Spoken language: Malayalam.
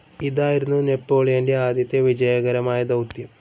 ഇതായിരുന്നു നെപ്പോളിയൻ്റെ ആദ്യത്തെ വിജയകരമായ ദൗത്യം.